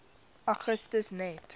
augustus net